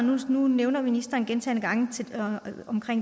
noget nu nævner ministeren gentagne gange